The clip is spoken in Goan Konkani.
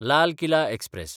लाल किला एक्सप्रॅस